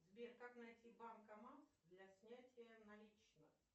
сбер как найти банкомат для снятия наличных